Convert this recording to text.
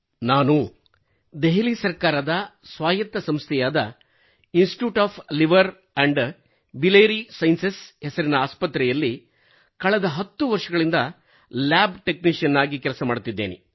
ನಾನು ದೆಹಲಿ ಸರ್ಕಾರದ ಸ್ವಾಯತ್ತ ಸಂಸ್ಥೆಯಾದ Institute of Liver and Biliary Sciences ಹೆಸರಿನ ಆಸ್ಪತ್ರೆಯಲ್ಲಿ ಕಳೆದ 10 ವರ್ಷಗಳಿಂದ ಲ್ಯಾಬ್ ಟೆಕ್ನಿಶಿಯನ್ ಆಗಿ ಕೆಲಸ ಮಾಡುತ್ತಿದ್ದೇನೆ